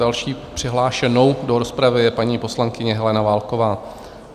Další přihlášenou do rozpravy je paní poslankyně Helena Válková.